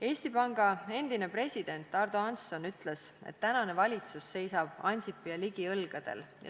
Eesti Panga endine president Ardo Hansson ütles, et tänane valitsus seisab Ansipi ja Ligi õlgadel.